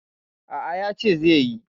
A'a, yace zai yi.